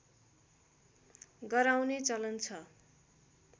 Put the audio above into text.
गराउने चलन छ